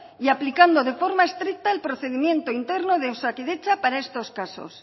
y aplicando de forma estricta el procedimiento interno de osakidetza para estos casos